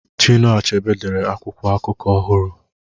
Chinua Achebe dere akwụkwọ akụkọ ọhụrụ